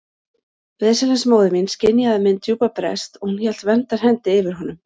Veslings móðir mín skynjaði minn djúpa brest og hún hélt verndarhendi yfir honum.